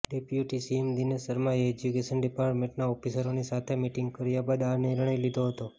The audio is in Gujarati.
ડેપ્યુટી સીએમ દિનેશ શર્માએ એજ્યુકેશન ડિપાર્ટમેન્ટના ઓફિસરોની સાથે મીટિંગ કર્યા બાદ આ નિર્ણય લીધો હતો